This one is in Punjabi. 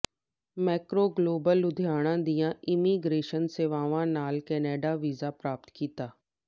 ਮੈਕਰੋ ਗਲੋਬਲ ਲੁਧਿਆਣਾ ਦੀਆਂ ਇੰਮੀਗ੍ਰੇਸ਼ਨ ਸੇਵਾਵਾਂ ਨਾਲ ਕੈਨੇਡਾ ਵੀਜ਼ਾ ਪ੍ਰਾਪਤ ਕੀਤਾ